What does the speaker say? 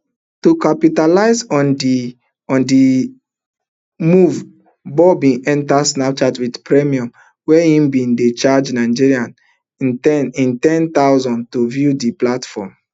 to capitalize on di on di move bob bin enta snapchat wit premium wia im bin dey charge nigerians n ten thousand to view di platform